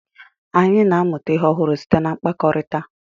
anyị na-amụta ihe ọhụrụ site na mkpakọrịta.